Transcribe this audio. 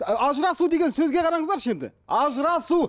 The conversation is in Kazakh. ажырасу деген сөзге қараңыздаршы енді ажырасу